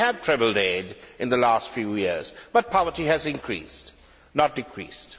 we have trebled aid in the last few years, but poverty has increased, not decreased.